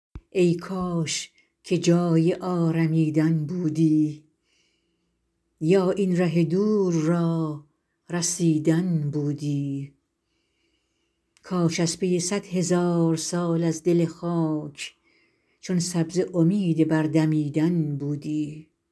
ای کاش که جای آرمیدن بودی یا این ره دور را رسیدن بودی کاش از پی صد هزار سال از دل خاک چون سبزه امید بر دمیدن بودی